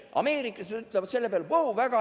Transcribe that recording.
Ameerikas nad ütlevad selle peale: "Wow!